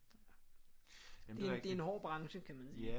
Det det er en hård branche kan man sige